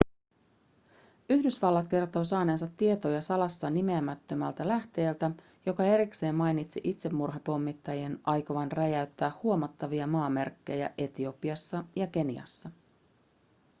yhdysvallat kertoo saaneensa tietoja salassa nimeämättömältä lähteeltä joka erikseen mainitsi itsemurhapommittajien aikovan räjäyttää huomattavia maamerkkejä etiopiassa ja keniassa